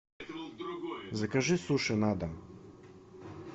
закажи суши на дом